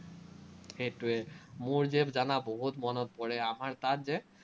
সেটোৱেই। মোৰ যে জানা বহুত মনত পৰে, আমাৰ তাত যে